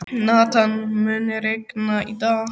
Nathan, mun rigna í dag?